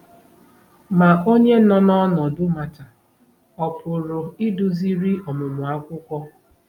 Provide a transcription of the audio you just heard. Ma onye nọ n’ọnọdụ Mata ọ̀ pụrụ iduziri ọmụmụ akwụkwọ?